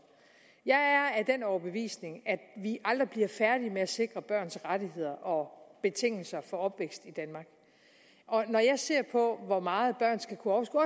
jeg er af den overbevisning at vi aldrig bliver færdige med at sikre børns rettigheder og betingelser for opvækst i danmark og når jeg ser på hvor meget børn skal kunne overskue